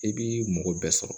I b'i mɔgɔ bɛɛ sɔrɔ